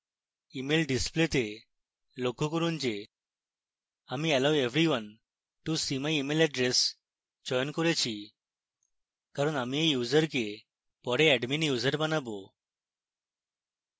email display তে লক্ষ্য করুন যে আমি allow everyone to see my email address চয়ন করেছি